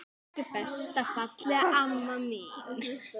Elsku besta fallega amma mín.